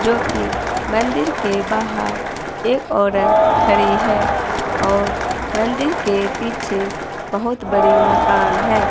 जोकि मंदिर के बाहर एक औरत खड़ी है और मंदिर के पीछे बहुत बड़ी मकान है।